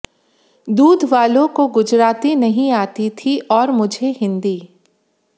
दूध वालों को गुजराती नहीं आती थी और मुझे हिन्दी